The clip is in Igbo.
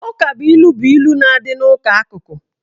Ukabụilu bụ ilu na-adị n'ụdị akụkụ.